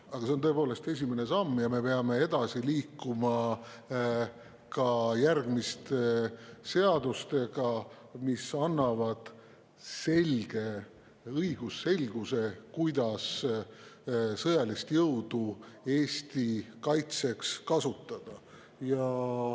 Aga see on tõepoolest esimene samm ja me peame edasi liikuma ka järgmiste seadustega, mis annavad õigusselguse, kuidas sõjalist jõudu Eesti kaitseks kasutada.